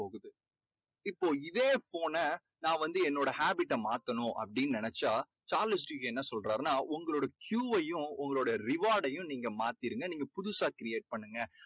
இப்போ இதே phone ன நான் வந்து என்னோட habit ட மாத்தணும் அப்படின்னு நினைச்சா சார்லஸ் டிக்கின்ஸ் என்ன சொல்றாருன்னா உங்களோட Q வையும் உங்களோட reward டையும் நீங்க மாத்திருங்க நீங்க புதுசா create பண்ணுங்க